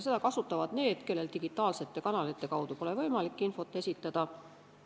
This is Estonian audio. Seda kasutavad need, kellel digitaalsete kanalite kaudu pole võimalik infot esitada.